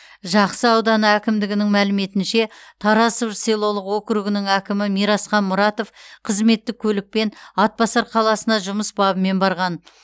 жақсы ауданы әкімдігінің мәліметінше тарасов селолық округінің әкімі мирасхан мұратов қызметтік көлікпен атбасар қаласына жұмыс бабымен барған